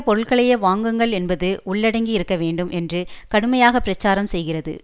பொருட்களையே வாங்குங்கள் என்பது உள்ளடங்கி இருக்க வேண்டும் என்று கடுமையாக பிரசாரம் செய்கிறது